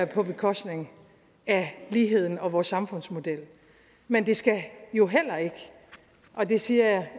på bekostning af ligheden og vores samfundsmodel men det skal jo heller ikke og det siger jeg